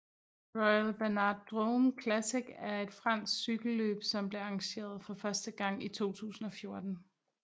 Royal Bernard Drôme Classic er et fransk cykelløb som blev arrangeret for første gang i 2014